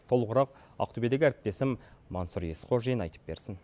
толығырақ ақтөбедегі әріптесім мансұр есқожин айтып берсін